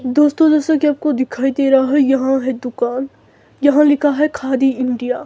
दोस्तों जैसे की आपको दिखाई दे रहा है। यहां है दुकान यहां लिखा है खादी इंडिया --